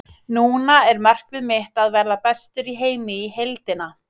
Núna er markmið mitt að verða bestur í heimi í heildina.